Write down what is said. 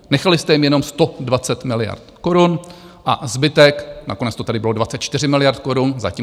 Nechali jste jim jenom 120 miliard korun a zbytek, nakonec to tady bylo 24 miliard korun - zatím.